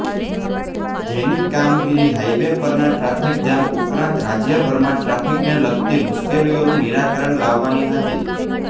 જેની કામગીરી હાઇવે પરના ટ્રાફિક જામ ઉપરાંત રાજયભરમાં ટ્રાફિકને લગતી મુશ્કેલીઓનું નિરાકરણ લાવવાની હતી